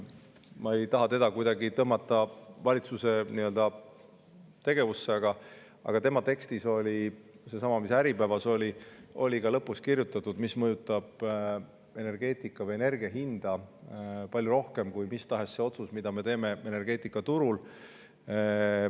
Ma ei taha teda kuidagi tõmmata valitsuse tegevusse, aga ta oma tekstis, sellessamas, mis oli Äripäevas, kirjutas, mis mõjutab energia hinda palju rohkem kui mis tahes otsus, mida me teeme energeetikaturul.